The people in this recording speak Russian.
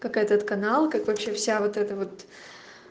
как этот канал как вообще вся вот это вот